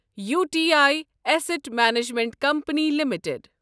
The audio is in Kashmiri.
U T I asset management company limited